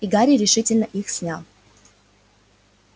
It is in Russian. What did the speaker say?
и гарри решительно их снял